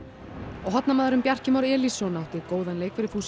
og hornamaðurinn Bjarki Már Elísson átti góðan leik fyrir